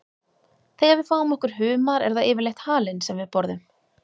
Þegar við fáum okkur humar er það yfirleitt halinn sem við borðum.